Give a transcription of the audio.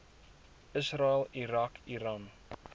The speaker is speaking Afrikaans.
israel irak iran